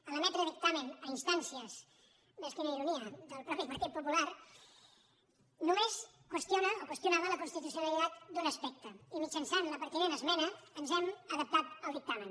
a l’emetre dictamen a instàncies ves quina ironia del mateix partit popular només qüestionava la constitucionalitat d’un aspecte i mitjançant la pertinent esmena ens hem adaptat al dictamen